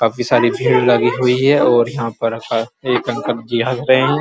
काफी सारी भीड़ लगी है और यहाँ पर अ एक अंकल जी हस रहे हैं।